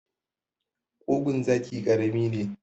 Ƙugun zaki karami ne.